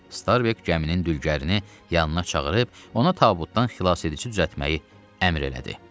Starbek gəminin dülgərini yanına çağırıb ona tabutdan xilasedici düzəltmək əmr elədi.